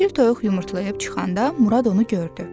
Çil toyuq yumurtlayıb çıxanda Murad onu gördü.